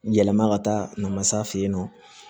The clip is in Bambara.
Yɛlɛma ka taa namasa yen nɔ